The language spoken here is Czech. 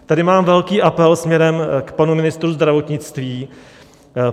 Tady mám velký apel směrem k panu ministrovi zdravotnictví.